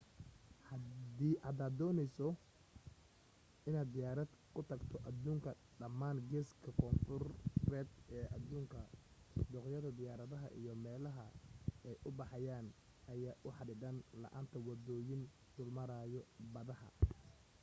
hadaad dooneysid inaad diyaarad ku tagto aduunka dhamaan geeska koonfuureed ee aduunka dooqyada diyaaradaha iyo meelaha ay u baxayaan ayaa u xadidan la'aanta wadooyin dul maraayo badaha